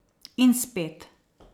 In spet.